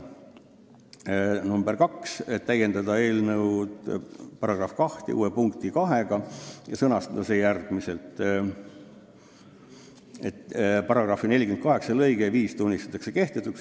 Ettepanek nr 2: "Täiendada eelnõu § 2 uue punktiga 2 ja sõnastada see järgmiselt: § 48 lõige 5 tunnistatakse kehtetuks.